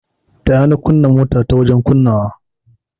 Taya ni kunna motar ta wajen kunnawa.